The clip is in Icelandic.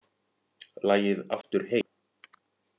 Lagið Aftur heim